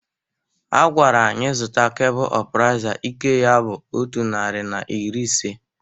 A gwara anyị zụta kebụl ọpraisa ike ya bụ otu nari na iri ise.